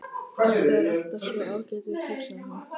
Pabbi er alltaf svo ágætur, hugsaði hann.